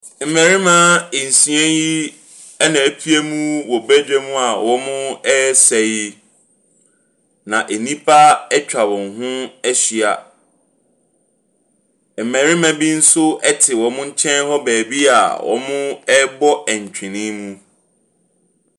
Mmarima nsia yi na apuem wɔ badwam a wɔresa yi. Na nnipa atwa wɔn ho ahyia. Mmarima bi nso te wɔn nkyɛn baabi a wɔrebɔ ntwenee.